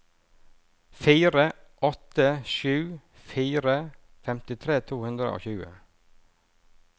fire åtte sju fire femtitre to hundre og tjue